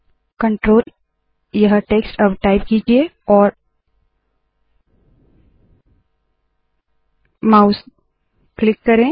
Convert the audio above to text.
control यह text अब type कीजिये और माउस क्लिक करे